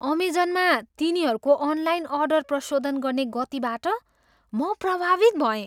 अमेजनमा तिनीहरूको online order प्रशोधन गर्ने गतिबाट म प्रभावित भएँ।